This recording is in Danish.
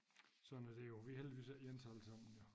Sådan er det jo vi heldigvis ikke ens allesammen jo